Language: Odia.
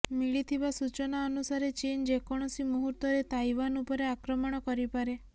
ମିଳିଥିବା ସୂଚନା ଅନୁସାରେ ଚୀନ ଯେକୌଣସି ମୁହୂର୍ତ୍ତରେ ତାଇଓ୍ବାନ ଉପରେ ଆକ୍ରମଣ କରିପାରେ